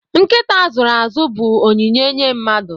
Nkịta a zụrụ azụ bụ onyinye nye mmadụ